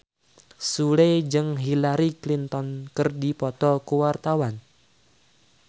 Sule jeung Hillary Clinton keur dipoto ku wartawan